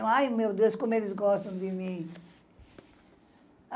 Ai, meu Deus, como eles gostam de mim.